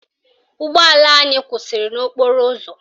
Ụgbọala anyị kwụsịrị n'okporo ụzọ